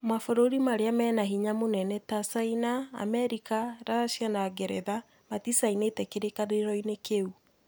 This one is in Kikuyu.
Mabũrũri marĩa mena hinya mũnene ta Cina,, Amerika, Russia na Ngeretha maticainĩte kĩrĩkanĩro-inĩ kĩu